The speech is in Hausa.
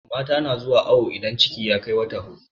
mata na zuwa awo idan ciki ya Kai wata huɗu